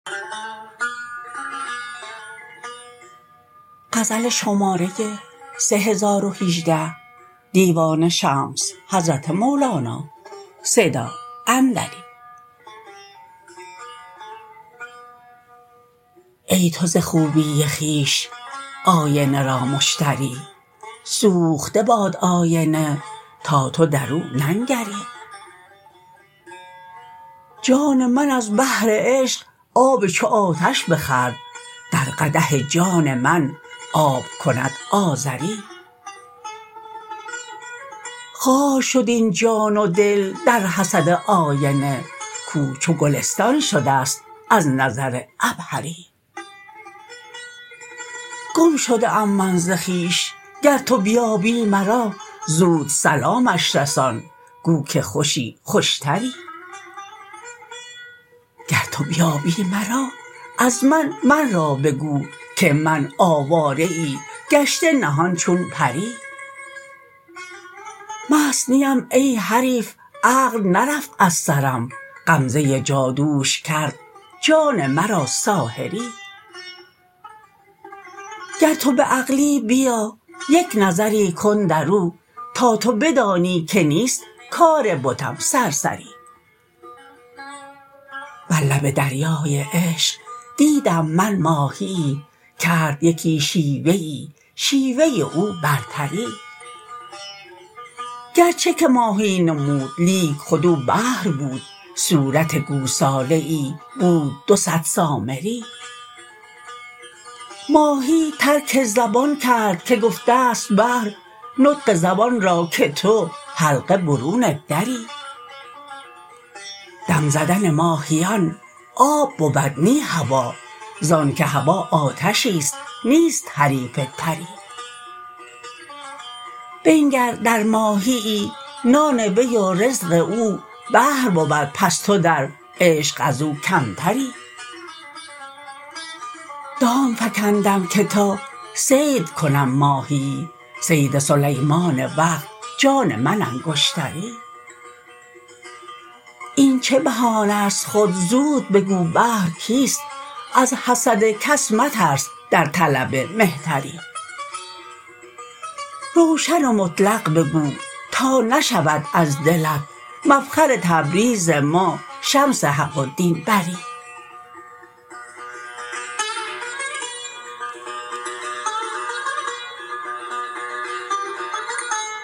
ای تو ز خوبی خویش آینه را مشتری سوخته باد آینه تا تو در او ننگری جان من از بحر عشق آب چو آتش بخورد در قدح جان من آب کند آذری خار شد این جان و دل در حسد آینه کو چو گلستان شده ست از نظر عبهری گم شده ام من ز خویش گر تو بیابی مرا زود سلامش رسان گو که خوشی خوشتری گر تو بیابی مرا از من من را بگو که من آواره ای گشته نهان چون پری مست نیم ای حریف عقل نرفت از سرم غمزه جادوش کرد جان مرا ساحری گر تو به عقلی بیا یک نظری کن در او تا تو بدانی که نیست کار بتم سرسری بر لب دریای عشق دیدم من ماهیی کرد یکی شیوه ای شیوه او برتری گرچه که ماهی نمود لیک خود او بحر بود صورت گوساله ای بود دو صد سامری ماهی ترک زبان کرد که گفته ست بحر نطق زبان را که تو حلقه برون دری دم زدن ماهیان آب بود نی هوا زانک هوا آتشیست نیست حریف تری بنگر در ماهیی نان وی و رزق او بحر بود پس تو در عشق از او کمتری دام فکندم که تا صید کنم ماهیی صید سلیمان وقت جان من انگشتری این چه بهانست خود زود بگو بحر کیست از حسد کس مترس در طلب مهتری روشن و مطلق بگو تا نشود از دلت مفخر تبریز ما شمس حق و دین بری